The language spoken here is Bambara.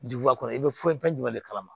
Duguba kɔnɔ i bɛ foyi fɛn jumɛn de kalama